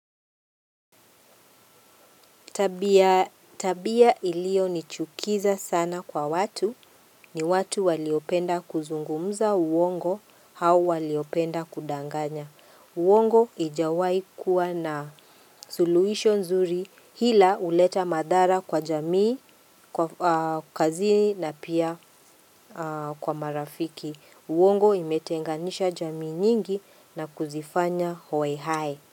Tabia ilioyo nichukiza sana kwa watu, ni watu waliopenda kuzungumza uongo au waliopenda kudanganya. Uongo hijawai kuwa na suluhisho nzuri hila uleta madhara kwa jamii, kwa kazini na pia kwa marafiki. Uongo imetenganisha jamii nyingi na kuzifanya hoehae,